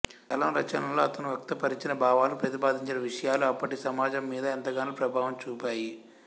చలం రచనల్లో అతను వ్యక్తపరచిన భావాలు ప్రతిపాదించిన విషయాలు అప్పటి సమాజం మీద ఎంతగానో ప్రభావం చూపాయి